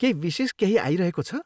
केही विशेष केही आइरहेको छ?